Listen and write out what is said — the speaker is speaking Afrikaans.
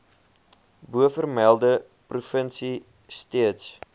bovermelde provinsie steeds